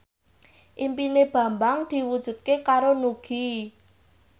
impine Bambang diwujudke karo Nugie